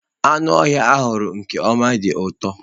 Anụ ọhịa a huru n'ọkụ dị ụtọ.